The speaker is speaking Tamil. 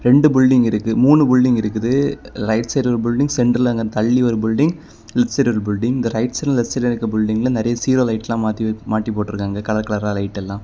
ரெண்டு பில்டிங் இருக்கு. மூணு பில்டிங் இருக்குது. ரைட் சைடுல ஒரு பில்டிங் . சென்டர்ல அங்க தள்ளி ஒரு பில்டிங் . லெஃப்ட் சைடு ஒரு பில்டிங் . இந்த ரைட் சைடு லெப்ட் சைடுல இருக்க பில்டிங்ல நிறைய ஜீரோ லைட்டெல்லாம் மாட்டி போட்டுருக்காங்க. கலர் கலரா லைட் எல்லா.